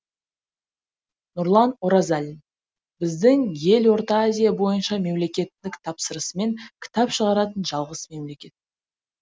нұрлан оразалин біздің ел орта азия бойынша мемлекеттік тапсырысымен кітап шығаратын жалғыз мемлекет